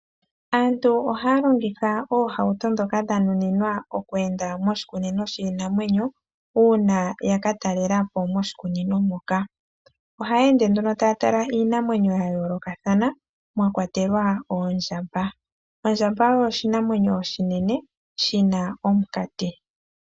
Aantu ohaya longitha oohauto ndhoka dha nuninwa oku enda moshikunino shiinamwenyo, uuna yaka talela po moshikunino moka. Ohaya ende nduno taya tala iinamwenyo ya yoolokathana mwa kwatelwa oondjamba. Ondjamba oyo oshinamwenyo oshinene shina omukati.